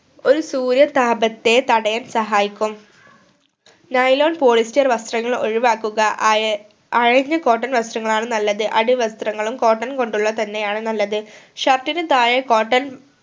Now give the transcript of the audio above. ഒരു സൂര്യതാപത്തെ തടയാൻ സഹായിക്കും nylon polyester വസ്ത്രങ്ങൾ ഒഴിവാക്കുക അയ അയഞ്ഞ cotton വസ്ത്രങ്ങൾ ആണ് നല്ലത് അടിവസ്ത്രങ്ങളും cotton കൊണ്ടുള്ളത് തന്നെ ആണ് നല്ലത് shirt ന് താഴെ cotton